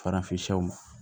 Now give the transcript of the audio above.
Farafinw